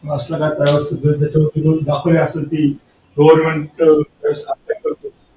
असला का त्याचवर्ति रोज goverment च